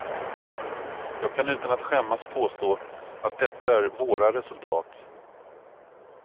Jag kan utan att skämmas påstå att detta är våra resultat.